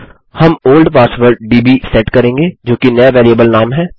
हम old password दब् set करेंगे जो कि नया बेरिएबल नाम है